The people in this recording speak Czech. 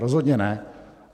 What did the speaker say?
Rozhodně ne.